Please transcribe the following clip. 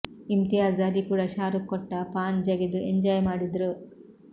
ಇಮ್ತಿಯಾಜ್ ಅಲಿ ಕೂಡ ಶಾರುಕ್ ಕೊಟ್ಟ ಪಾನ್ ಜಗಿದು ಎಂಜಾಯ್ ಮಾಡಿದ್ರು